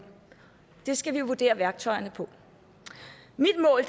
det skal vi vurdere værktøjerne på mit mål